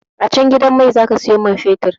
A can gidan mai zaka siyo man fetir